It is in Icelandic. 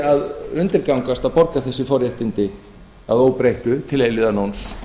að undirgangast að borga þessi forréttindi að óbreyttu til eilífðarnóns